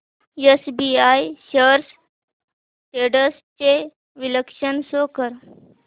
SBI shares trends चे विश्लेषण show कर